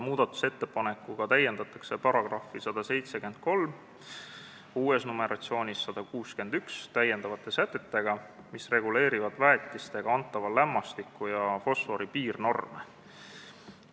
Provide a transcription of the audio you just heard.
Muudatusettepanekuga täiendatakse § 173 lisasätetega, mis reguleerivad väetistega antava lämmastiku ja fosfori piirnorme.